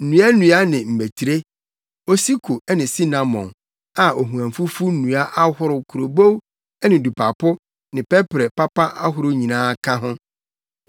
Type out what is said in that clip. nnuannua ne mmetire, osiko ne sinamon, a ohuamfufu nnua ahorow, kurobow ne dupapo ne pɛprɛ papa ahorow nyinaa ka ho.